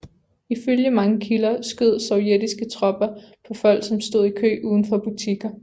Ifølge mange kilder skød sovjetiske tropper på folk som stød i kø udenfor butikker